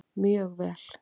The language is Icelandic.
Mjög vel!